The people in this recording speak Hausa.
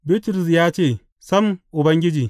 Bitrus ya ce, Sam, Ubangiji!